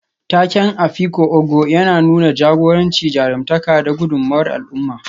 Taken Afikpo Ogo yana nuna jagoranci, jarumtaka, da gudummawar al'umma.